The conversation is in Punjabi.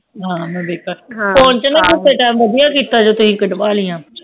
ਹਾਂ ਮੈਂ ਵੇਖੇਗੀ ਇਹ ਤੁਸੀ ਵਧੀਆ ਕੀਤਾ ਫੋਨ ਵਿਚ ਕੱਢ ਵਾਲਿਆਂ